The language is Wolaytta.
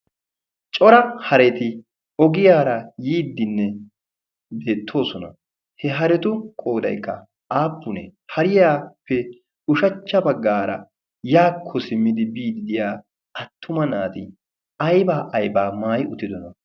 cora hareti ogiyaara yiiddinne deettoosona. he haretu qoodaykka aappunee pariyaappe ushachcha baggaara yaakko simmidi biiddiya attuma naati aybaa aybaa maayi uttidona?